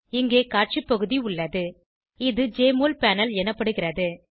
இங்கே காட்சி பகுதி உள்ளது இது ஜெஎம்ஒஎல் பேனல் எனப்படுகிறது